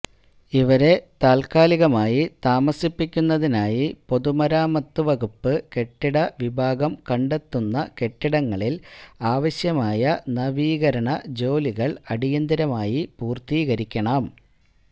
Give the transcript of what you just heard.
ഇവരെ താത്കാലികമായി താമസിപ്പിക്കുന്നതിനായി പൊതുമരാമത്ത് വകുപ്പ് കെട്ടിട വിഭാഗം കണ്ടെത്തുന്ന കെട്ടിടങ്ങളില് ആവശ്യമായ നവീകരണ ജോലികള് അടിയന്തരമായി പൂര്ത്തീകരിക്കണം